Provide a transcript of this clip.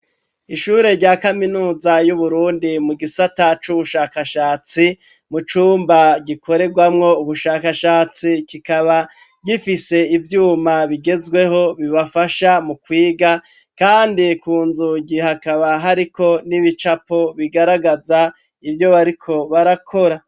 Ishure rya kaminuza y'Uburundi, mu gisata c'ubushakashatsi, mu cumba gikorerwamwo ubushakashatsi; kikaba gifise ivyuma bigezweho, bibafasha mu kwiga, kandi ku nzugi, hakaba hariko n'ibicapo, bigaragaza ivyo bariko barakora.